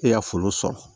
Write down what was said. E y'a foro sɔrɔ